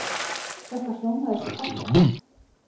Þetta hljómaði svo fallega.